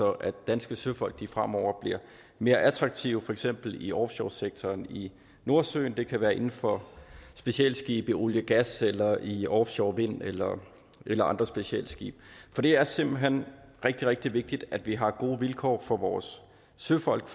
at danske søfolk fremover bliver mere attraktive for eksempel i offshore sektoren i nordsøen det kan være inden for specialskibe oliegas eller i offshore vind eller eller andre specialskibe det er simpelt hen rigtig rigtig vigtigt at vi har gode vilkår for vores søfolk